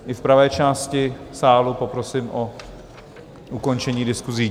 I v pravé části sálu poprosím o ukončení diskusí.